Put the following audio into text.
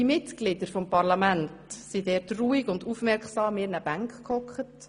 Die Mitglieder des Parlaments sassen dort ruhig und aufmerksam in ihren Bankreihen.